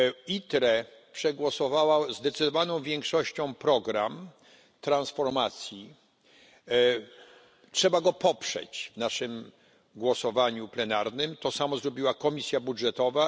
ITRE przegłosowała zdecydowaną większością program transformacji, trzeba go poprzeć w naszym głosowaniu plenarnym, to samo zrobiła Komisja Budżetowa.